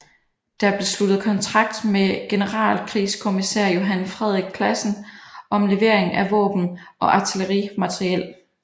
Der blev sluttet kontrakt med generalkrigskommissær Johan Frederik Classen om levering af våben og artillerimateriel